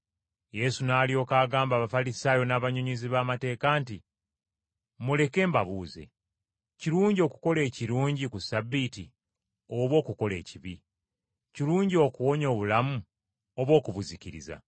Yesu n’alyoka agamba Abafalisaayo n’abannyonnyozi b’amateeka nti, “Muleke mbabuuze; Kirungi okukola ekirungi ku Ssabbiiti oba okukola ekibi? Kirungi okuwonya obulamu oba okubuzikiriza?”